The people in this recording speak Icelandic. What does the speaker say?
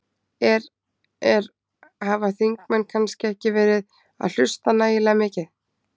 Er, er, hafa þingmenn kannski ekki verið að hlusta nægilega mikið?